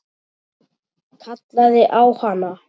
Kallaði á hana.